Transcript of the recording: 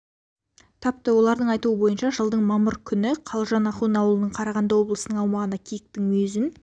тапты олардың айтуы бойынша жылдың мамыр күні қалжан ахун ауылынан қарағанды облысының аумағына киіктің мүйізін